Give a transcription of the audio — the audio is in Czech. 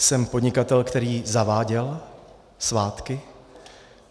Jsem podnikatel, který zaváděl svátky.